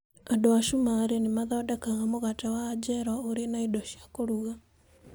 Andũ a Cumarĩ nĩ mathondekaga mũgate wa anjero ũrĩ na indo cia kũruga.